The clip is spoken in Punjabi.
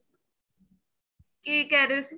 ਕੀ ਕਹਿ ਰਹੇ ਸੀ